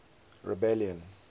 rebellion